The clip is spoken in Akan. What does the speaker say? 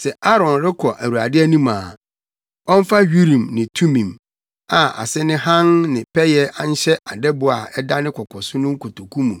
Sɛ Aaron rekɔ Awurade anim a, ɔmfa Urim ne Tumim + 28.30 Urim ne Tumim yɛ nneɛma bi a wɔnam so hu Onyankopɔn apɛde. a ase ne hann ne pɛyɛ nhyɛ adɛbo a ɛda ne koko so no kotoku mu.